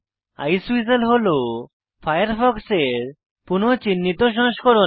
Iceweasel হল Firefox এর পুনঃ চিহ্নিত সংস্করণ